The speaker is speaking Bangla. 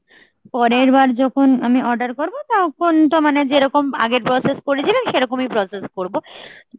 পরের বার যখন আমি order করবো তখন তো মানে যেরকম আগে process করেছিলেন সেরকমই process করবো